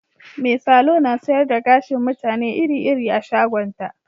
Mai salo na sayar da gashin mutane iri-iri a shagonta